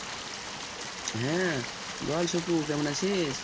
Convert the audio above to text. হ্যাঁ বল সুপু কেমন আছিস?